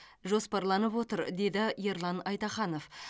жоспарланып отыр деді ерлан айтаханов